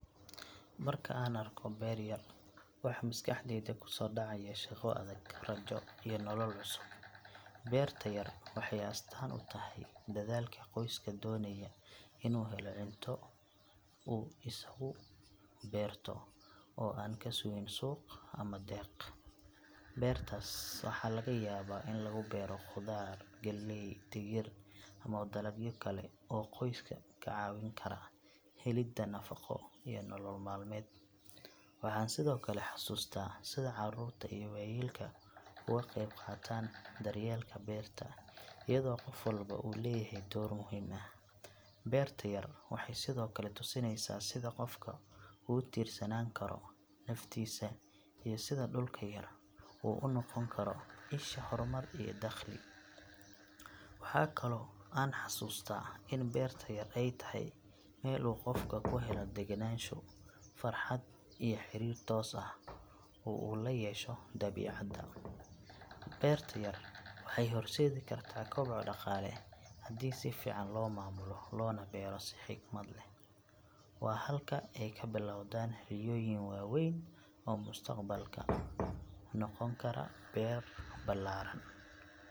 Marka aan arko beer yar, waxa maskaxdayda ku soo dhacaya shaqo adag, rajo iyo nolol cusub. Beerta yar waxay astaan u tahay dadaalka qoyska doonaya inuu helo cunto uu isagu beerto oo aan ka sugin suuq ama deeq. Beertaas waxaa laga yaabaa in lagu beero khudaar, galley, digir ama dalagyo kale oo qoyska ka caawin kara helidda nafaqo iyo nolol maalmeed. Waxaan sidoo kale xasuustaa sida carruurta iyo waayeelka uga qeyb qaataan daryeelka beerta iyadoo qof walba uu leeyahay door muhiim ah. Beerta yar waxay sidoo kale tusinaysaa sida qofku ugu tiirsanaan karo naftiisa iyo sida dhulka yar uu u noqon karo isha horumar iyo dakhli. Waxa kaloo aan xasuustaa in beerta yar ay tahay meel uu qofku ku helo degenaansho, farxad iyo xiriir toos ah oo uu la yeesho dabiicadda. Beerta yar waxay horseedi kartaa koboc dhaqaale haddii si fiican loo maamulo loona beero si xigmad leh. Waa halka ay ka bilowdaan riyooyin waaweyn oo mustaqbalka noqon kara beero ballaaran.